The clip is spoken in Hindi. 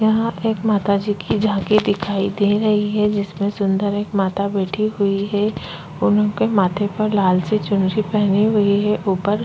यहाँ पर एक माताजी की झांकी दिखाई दे रही है जिसमें सुंदर एक माता बैठी हुई है उन्होंने माथे पर लाल से चुनरी पहनी हुई है ऊपर--